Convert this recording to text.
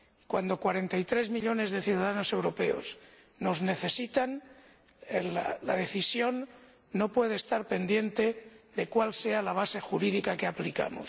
Cuando cuarenta y tres millones de ciudadanos europeos nos necesitan, la decisión no puede estar pendiente de cuál sea la base jurídica que debemos aplicar.